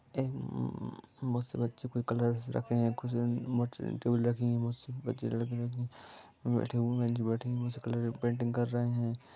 बहुत से बच्चे बैठे हुए हैं बहुत सी पेंटिंग रखी हुए हैं जो बैठे हुए हैं पेंटिंग कर रहे हैं पेंटिंग कर रहे हैं।